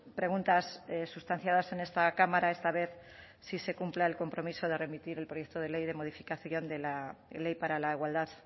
preguntas sustanciadas en esta cámara esta vez sí se cumpla el compromiso de remitir el proyecto de ley de modificación de la ley para la igualdad